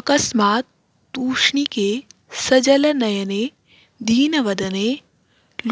अकस्मात् तूष्णीके सजलनयने दीनवदने